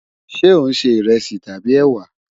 Ṣe o n ṣe iresi tabi ewa?